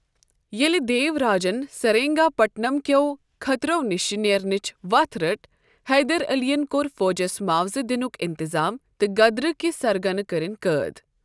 ییلہ دیوراجن سرینگا پٹم کٮ۪و خطرو نِش نیرنیرنٕچ وتھ رٕٹ ، حیدر علین کوٚر فوجس معاوضہٕ دِنُک انتظام تہٕ غدرٕكۍ سرغنہٕ كرِن قٲد ۔